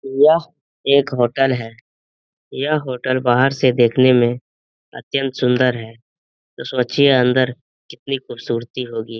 यह एक होटल है यह होटल बाहर से देखने में अत्यंत सुंदर है तो सोचिए अंदर कितनी खूबसूरती होगी।